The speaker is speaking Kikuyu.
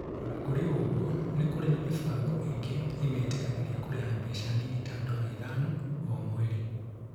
O na kũrĩ ũguo, ni kũrĩ na mĩbango ĩngĩ ĩmetĩkagĩria kũrĩha mbeca nini ta ndora ithano o mweri.